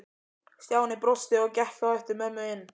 Stjáni brosti og gekk á eftir mömmu inn.